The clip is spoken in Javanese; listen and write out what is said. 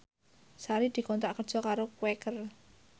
Sari dikontrak kerja karo Quaker